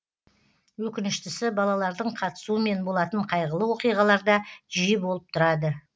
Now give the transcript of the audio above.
өкініштісі балалардың қатысуымен болатын қайғылы оқиғалар да жиі болып тұрады